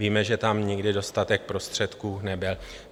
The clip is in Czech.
Víme, že tam nikdy dostatek prostředků nebyl.